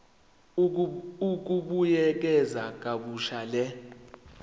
ukubuyekeza kabusha le